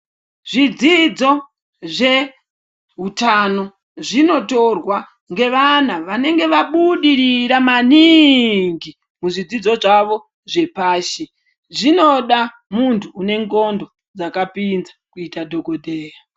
Zvidzidzo zveutano zvinotorwa ngevana vanenge vabudirira maningi muzvidzidzo zvavo zvepashi, zvinoda munhu unendhlondo dzakapinza kuita dhokodheya.